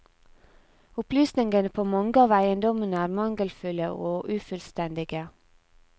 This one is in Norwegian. Opplysningene på mange av eiendommene er mangelfulle og ufullstendige.